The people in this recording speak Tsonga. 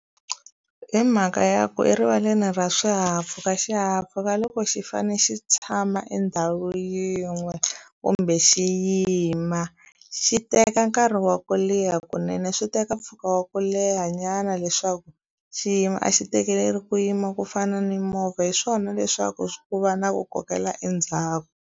Hi mhaka ya ku erivaleni ra swihahampfhuka xihahampfhuka loko xi fane xi tshama endhawu yin'we kumbe xi yima xi teka nkarhi wa ku leha kunene swi teka mpfhuka wa ku leha nyana leswaku xiyimo a xi tekeleli ku yima ku fana ni movha hi swona leswaku ku va na ku kokela endzhaku.